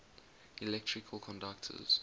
electrical conductors